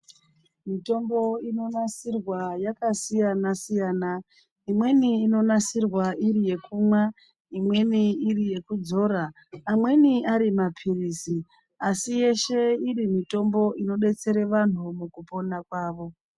Mitombo inonasirwa yakasiyana-siyana. Imweni inonasirwa iri yekumwa. Imweni iri yekudzora. Amweni ari mapirizi asi yeshe iri mitombo inodetsera bantu mukupona kwavo.